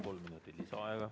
Kolm minutit lisaaega.